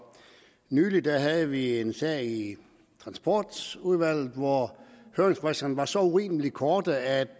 nylig havde vi en sag i transportudvalget hvor høringsfristerne var så urimelig korte at